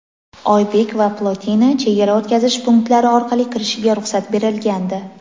"Oybek" va "Plotina" chegara o‘tkazish punktlari orqali kirishiga ruxsat berilgandi.